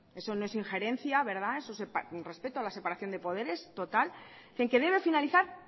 eso no es ingerencia eso es respeto a la separación de poderes total que en que debe finalizar